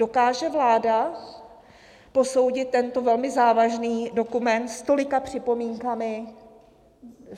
Dokáže vláda posoudit tento velmi závažný dokument s tolika připomínkami?